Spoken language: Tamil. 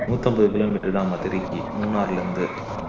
முண்ணூத்தி ஐம்பது kilometer தான் மதுரைக்கு மூணார்ல இருந்து